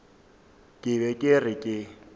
ke be ke re ke